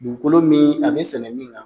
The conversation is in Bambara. Dugukolo min a be sɛnɛ min na